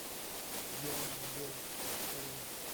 идеальный голос покажи